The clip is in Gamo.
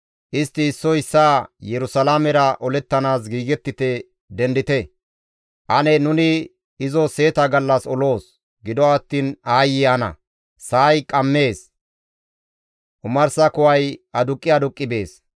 Istti issoy issaa, ‹Yerusalaamera olettanaas giigettite! Dendite! Ane nuni izo seeta gallas oloos. Gido attiin aayye ana! Sa7ay qammees; omarsa kuway aduqqi aduqqi bees.